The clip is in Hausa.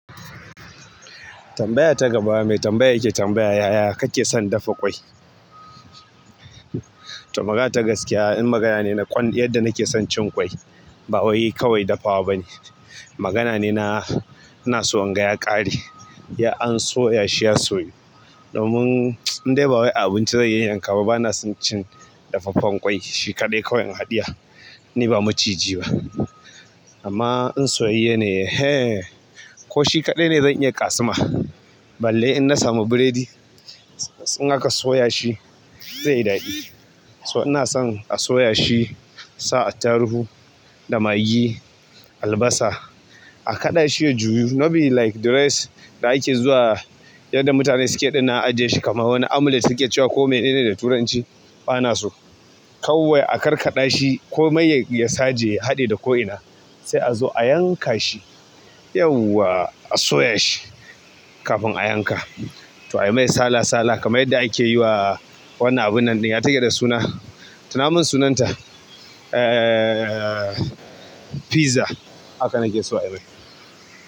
Tambaya ta gaba mai tambaya yake tambaya yaya kake son dafa ƙwai. To magata gaskiya. In magana ne na kwand-- yadda nake son cin ƙwai. Ba wai kawai dafawa ba ne. Magana ne na, ina so inga ya ƙare. Ya an soya shi ya soyu. Domin in dai ba wai a abinci zai yanyanka ba bana son cin dafaffen ƙwai. Shi kaɗai kawai in hadiya. Ni ba maciji ba. Amma in soyayye ne. Hee! Ko shi kaɗai ne zan iya ƙasuma. Balle in na samu biredi. In aka soya shi zai yi daɗi. So ina son a soya shi, a sa attarugu da magi, albasa. A kaɗa shi a a juyu not be like the rest da ake zuwa yadda mutane suke ɗinnan ajiye shi kamar wani amulet suke cewa ko mene ne da turanci bana so. Kawai a karkaɗa shi ko mai ya, ya saje, ya haɗe da ko ina. Sai a zo a yanka shi. Yauwa a soya shi kafin a yanka. To a yi mai sala sala kamar yadda ake yi wa wannan abun nan ɗin ya take da suna. Tuna mun sunanta. Ehhh. Pizza. Haka nake so a yi mai.